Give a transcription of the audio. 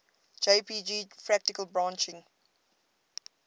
jpg fractal branching